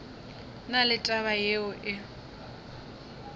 na le taba yeo e